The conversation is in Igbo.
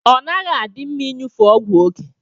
Ọnaghi adi mma inyụfe ọgwụ oke.